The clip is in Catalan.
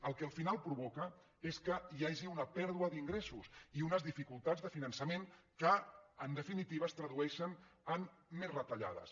el que al final provoca és que hi hagi una pèrdua d’ingressos i unes dificultats de finançament que en definitiva es tradueixen en més retallades